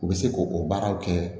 U bɛ se k'o baaraw kɛ